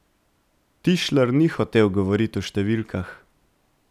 Tišler ni hotel govoriti o številkah.